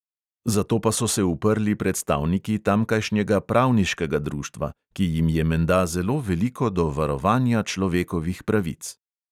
Zato pa so se uprli predstavniki tamkajšnjega pravniškega društva, ki jim je menda zelo veliko do varovanja človekovih pravic.